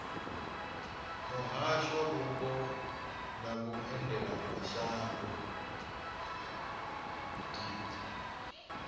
muhasho wa mupo na vhuendelamashango deat